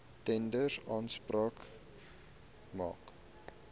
tenders aanspraak maak